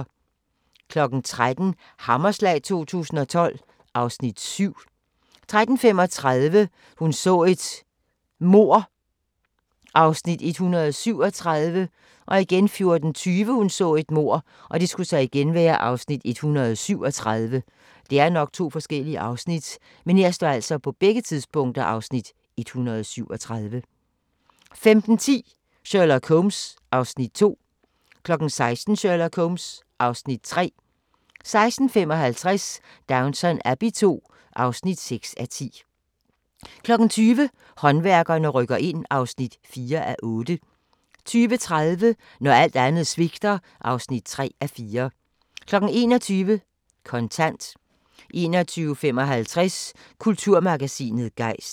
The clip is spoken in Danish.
13:00: Hammerslag 2012 (Afs. 7) 13:35: Hun så et mord (Afs. 137) 14:20: Hun så et mord (Afs. 137) 15:10: Sherlock Holmes (Afs. 2) 16:00: Sherlock Holmes (Afs. 3) 16:55: Downton Abbey II (6:10) 20:00: Håndværkerne rykker ind (4:8) 20:30: Når alt andet svigter (3:4) 21:00: Kontant 21:55: Kulturmagasinet Gejst